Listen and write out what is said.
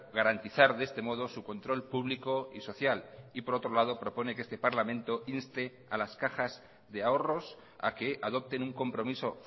garantizar de este modo su control público y social y por otro lado propone que este parlamento inste a las cajas de ahorros a que adopten un compromiso